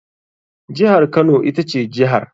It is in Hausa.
Jihar kano ita ce jihar.